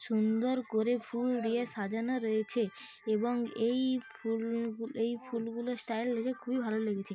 সুন্দর করে ফুল দিয়ে সাজানো রয়েছে এবং এই ফুল গুলো এই ফুল গুলোর স্টাইল দেখে খুবই ভালো লেগেছে।